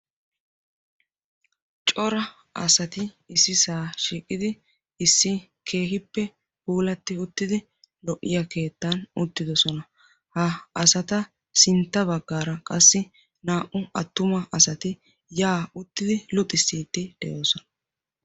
cora asati ississa shiiqidi issi keehippe puulati uttidi lo''iyaa keettan uttidoosona. ha asata sintta baggara qassi naa''u attuma asati yaa uttidi luxissidi de'oosona.